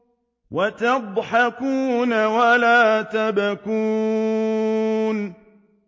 وَتَضْحَكُونَ وَلَا تَبْكُونَ